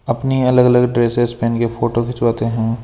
अपनी अलग अलग ड्रेसेस पहन के फोटो खिंचवाते हैं।